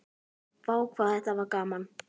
Vá hvað þetta var gaman!!